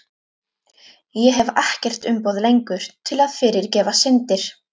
Ég hef ekkert umboð lengur til að fyrirgefa syndir.